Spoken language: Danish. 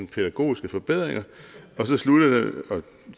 pædagogiske forbedringer